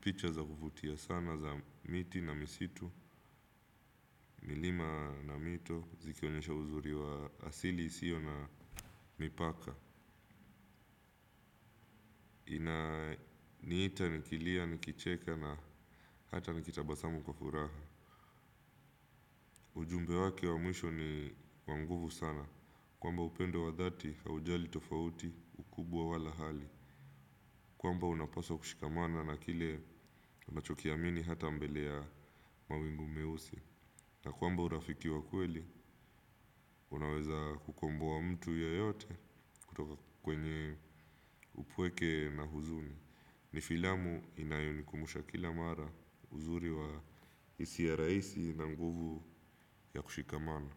picha za kuvutia sana za miti na misitu, milima na mito, zikionyesha uzuri wa asili isio na mipaka. Niita, nikilia, nikicheka na hata nikitabasamu kwa furaha. Ujumbe wake wa mwisho ni wa nguvu sana. Kwamba upendo wa dhati haujali tofauti kubwa au hali kwamba unapaswa kushikamana na kile unachokiamini hata mbele ya mawingu meusi. Na kwamba urafiki wa kweli, unaweza kukomboa mtu yeyote kutoka kwenye upweke na huzuni. Ni filamu inayo nikumbusha kila mara uzuri wa isia raisi na nguvu ya kushikamana.